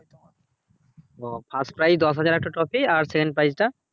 ও first prize দশ হাজার আর একটা trophy আর second prize টা